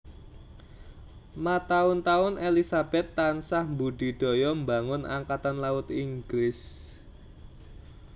Mataun taun Elizabeth tansah mbudidaya mbangun Angkatan Laut Inggris